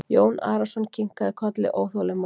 Jón Arason kinkaði kolli óþolinmóður.